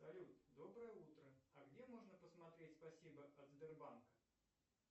салют доброе утро а где можно посмотреть спасибо от сбербанка